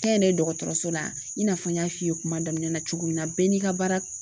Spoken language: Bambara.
Kɛnyɛrɛye dɔgɔtɔrɔso la in n'a fɔ n y'a f'i ye kuma daminɛ na cogo min na bɛɛ n'i ka baara